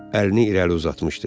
Əlini irəli uzatmışdı.